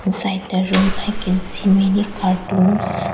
Inside the room I can see many cartoons.